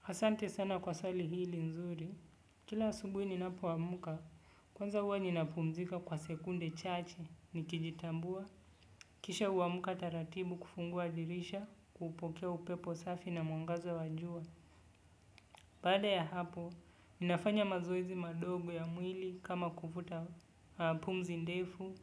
Hasante sana kwa sali hili nzuri, kila asubuhi ninapo wamuka, kwanza huwa ninapumzika kwa sekunde chache, nikijitambua, kisha wamuka taratibu kufungua dirisha, kupokea upepo safi na mwangaza wajua. Bada ya hapo, ninafanya mazoezi madogo ya mwili kama kufuta pumzi ndefu,